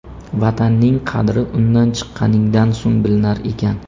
Vatanning qadri undan chiqqaningdan so‘ng bilinar ekan.